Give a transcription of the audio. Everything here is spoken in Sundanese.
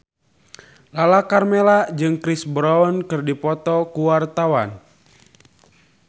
Lala Karmela jeung Chris Brown keur dipoto ku wartawan